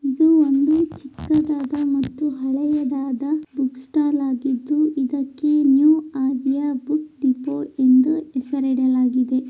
ಇದು ಒಂದು ಚಿಕ್ಕದಾದ ಮತ್ತು ಹಳೆಯದಾದ ಬುಕ್ ಸ್ಟಾಲ್ ಆಗಿದೆ ಇದ್ದಕ್ಕೆ ನ್ಯೂ ಆದ್ಯ ಬುಕ್ ಎಂದು ಹೆಸರು ಇಡಲಾಗಿದೆ.